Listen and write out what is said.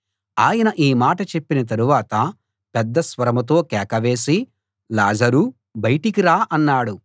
ఆయన ఈ మాట చెప్పిన తరువాత పెద్ద స్వరంతో కేక వేసి లాజరూ బయటికి రా అన్నాడు